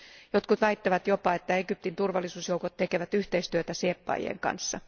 Jotkut väittävät jopa, että Egyptin turvallisuusjoukot tekevät yhteistyötä sieppaajien kanssa.